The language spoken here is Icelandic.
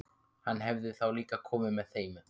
Hann hefði þá líka komið með þeim.